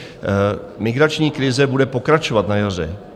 Migrační krize bude pokračovat na jaře.